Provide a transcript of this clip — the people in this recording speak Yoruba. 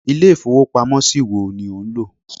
Ilé ìfowópamó ṣí wo ni ò nlò